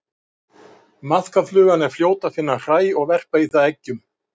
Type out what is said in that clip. Maðkaflugan er fljót að finna hræ og verpa í það eggjum.